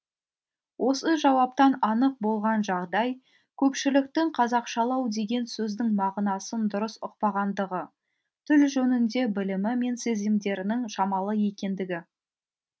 осы жауаптан анық болған жағдай көпшіліктің қазақшалау деген сөздің мағынасын дұрыс ұқпағандығы тіл жөнінде білімі мен сезімдерінің шамалы екендігі